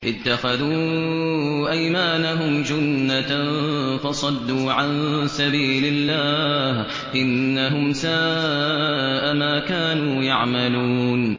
اتَّخَذُوا أَيْمَانَهُمْ جُنَّةً فَصَدُّوا عَن سَبِيلِ اللَّهِ ۚ إِنَّهُمْ سَاءَ مَا كَانُوا يَعْمَلُونَ